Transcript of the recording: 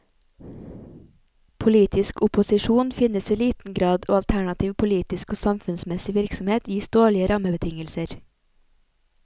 Politisk opposisjon finnes i liten grad og alternativ politisk og samfunnsmessig virksomhet gis dårlige rammebetingelser.